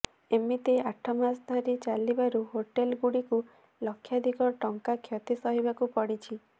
ଏମିତି ଆଠ ମାସ ଧରି ଚାଲିବାରୁ ହୋଟେଲଗୁଡ଼ିକୁ ଲକ୍ଷାଧିକ ଟଙ୍କା କ୍ଷତି ସହିବାକୁ ପଡ଼ିଛି